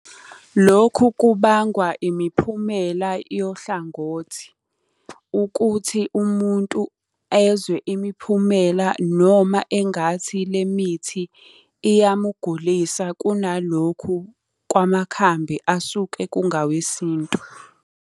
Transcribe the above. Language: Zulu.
Lokhu kubangwa imiphumela yohlangothi. Ukuthi umuntu ezwe imiphumela noma engathi le mithi iyamugulisa kunalokhu kwamakhambi asuke kungawesintu.